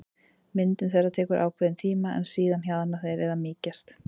Myndun þeirra tekur ákveðinn tíma en síðan hjaðna þeir eða mýkjast.